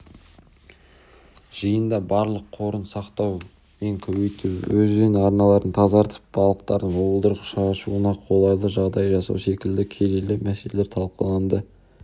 жиында балық қорын сақтау мен көбейту өзен арналарын тазартып балықтардың уылдырық шашуына қолайлы жағдай жасау секілді келелі мәселелер талқыланды